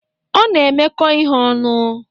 Ọ na-emekọ ihe ọnụ.